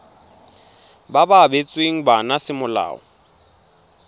ba ba abetsweng bana semolao